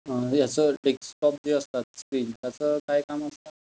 हे अस डेक्सटॉप जे असतात स्क्रीन, त्याच काय काम असत?